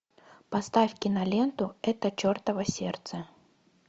поставь киноленту это чертово сердце